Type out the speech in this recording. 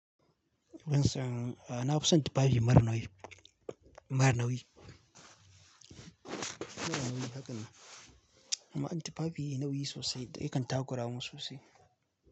Wancan, a na kusan tufafi maranawi, maranawi. Maranawi haka ne. Amma akwai tufafi nawi sosai da akai kantagora mususai.